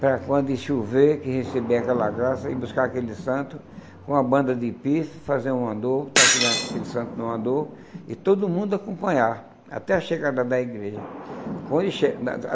para quando chover, que receber aquela graça, ir buscar aquele santo, com uma banda de pife, fazer um andor, botar aquele aquele santo no andor, e todo mundo acompanhar, até a chegada da igreja.